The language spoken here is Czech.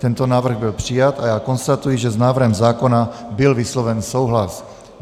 Tento návrh byl přijat a já konstatuji, že s návrhem zákona byl vysloven souhlas.